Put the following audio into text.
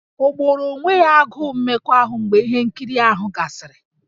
O gboro onwe ya agụụ mmekọahụ mgbe ihe nkiri ahụ gasịrị?